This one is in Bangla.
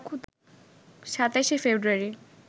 ২৭শে ফেব্রুয়ারি